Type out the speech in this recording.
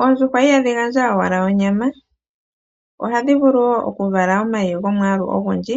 Oondjuhwa ihadhi gandja owala onyama, ohadhi vulu wo okuvala omayi gomwaalu ogundji,